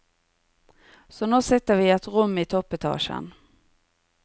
Så nå sitter vi i et rom i toppetasjen.